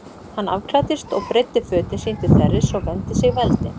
Hann afklæddist og breiddi fötin sín til þerris og vermdi sig við eldinn.